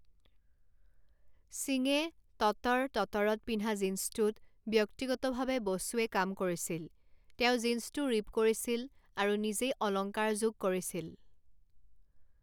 সিঙে ততড় ততড়ত পিন্ধা জিন্সটোত ব্যক্তিগতভাৱে বসুৱে কাম কৰিছিল; তেওঁ জিন্সটো ৰিপ কৰিছিল আৰু নিজেই অলংকাৰযোগ কৰিছিল।